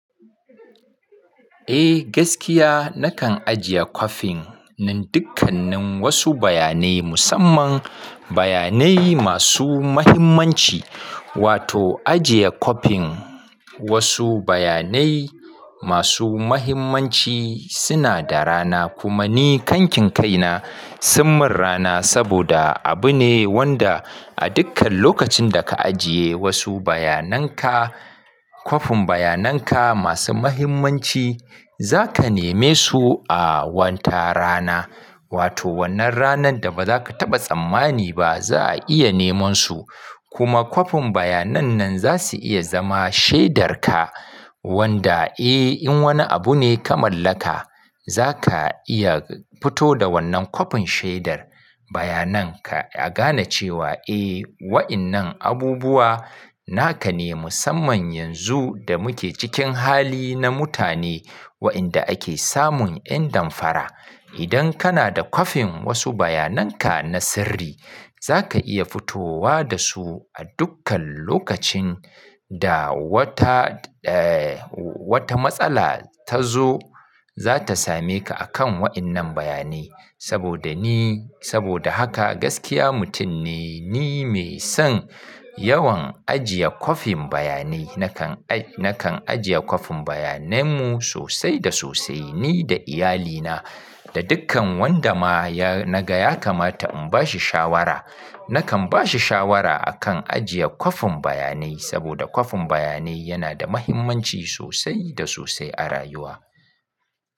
Eh gaskiya nakan ajiye kwafin nan dukkanin wasu bayanai musamman bayanai masu mahimmanci wato ajiye kwafin wasu bayanai masu mahimmanci suna da rana kuma ni kankin kaina sun min rana saboda abu ne wanda a dukkan lokacin da ka ajiye wasu bayanan ka kwafin bayanan ka masu mahimmanci zaka neme su a wata rana. Wato wannan ranan da baza ka taba tsammani ba za'a iya neman su kuma kwafin bayanan nan zasu iya zama shaidar ka wanda eh in wani abu ne ka mallaka zaka iya fito da wannan kwafin shaidar bayanan ka a gane cewa eh wa'innan abubuwa naka ne musamman yanzu da muke cikin hali na mutane wa'inda ake samun 'yan damfara. Idan kana da kwafin wasu bayanan ka na sirri zaka iya fitowa da su a dukkan lokacin da wata eh wata matsala tazo zata same ka akan wa'innan bayanai saboda ni saboda haka gaskiya mutum ne ni mai son yawan ajiye kwafin bayanai. Nakan ajiye kwafin bayanan mu sosai da sosai ni da iyalina da dukkan wanda ma ya na ga ya kamata in bashi shawara nakan bashi shawara akan ajiye kwafin bayanai saboda kwafin bayanai yana da mahimmanci sosai da sosai a rayuwa.